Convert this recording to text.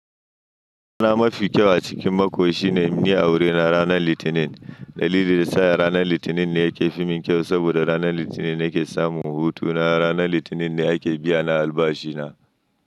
Rana mafi kyau a cikin mako shine ni wuri na ranar Litinin. Dalilin da yasa ranar Litinin ne ya ke fim kyau saboda ranar Litinin ne ke samun hutu na ranar Litinin ne ake biyana albashi na.